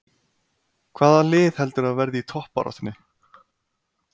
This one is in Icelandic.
Hvaða lið heldurðu að verði í toppbaráttunni?